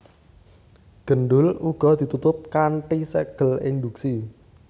Gendul uga ditutup kanthi ségel induksi